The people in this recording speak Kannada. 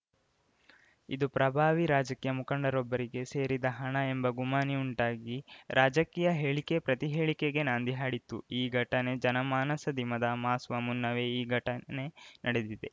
ಇದು ಪ್ರಭಾವಿ ರಾಜಕೀಯ ಮುಖಂಡರೊಬ್ಬರಿಗೆ ಸೇರಿದ ಹಣ ಎಂಬ ಗುಮಾನಿ ಉಂಟಾಗಿ ರಾಜಕೀಯ ಹೇಳಿಕೆಪ್ರತಿಹೇಳಿಕೆಗೆ ನಾಂದಿ ಹಾಡಿತ್ತು ಆ ಘಟನೆ ಜನಮಾನಸದಿಮದ ಮಾಸುವ ಮುನ್ನವೇ ಈ ಘಟನೆ ನಡೆದಿದೆ